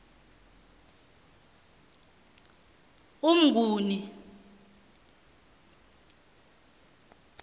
umnguni